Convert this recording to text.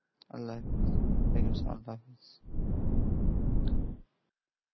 আল্লাহাফেজ